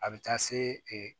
A bɛ taa se e